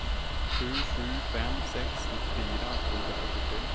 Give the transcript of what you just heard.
sju sju fem sex nittiofyra tvåhundrasjuttiotre